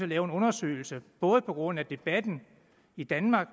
lave en undersøgelse både på grund af debatten i danmark